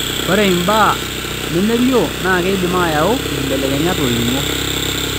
Ore imbaa nemelioo naa keidim aayau nkibelekenyat olning'o.